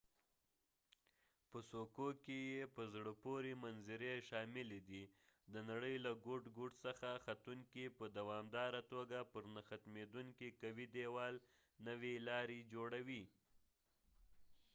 په څوکو کې یې په زړه پورې منظرې شاملې دي د نړۍ له ګوټ ګوټ څخه ختونکي په دوامداره توګه پر نه ختمیدونکي قوي دیوال نوې لارې جوړوي